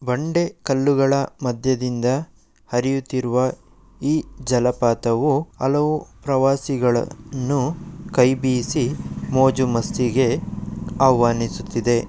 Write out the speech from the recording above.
ಬಂಡೆ ಕಲ್ಲುಗಳ ಮಧ್ಯದಿಂದ ಹರಿಯುತ್ತಿರುವ ಈ ಜಲಪಾತವು ಹಲವು ಪ್ರವಾಸಿಗಲನ್ನು ಕೈಬೀಸಿ ಮೋಜು-ಮಸ್ತಿಗೆ ಆಹ್ವಾನಿಸುತ್ತಿದೆ.